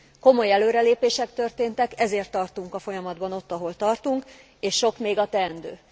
Komoly előrelépések történtek, ezért tartunk a folyamatban ott, ahol tartunk, és sok még a teendő.